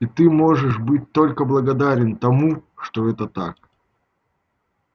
и ты можешь быть только благодарен тому что это так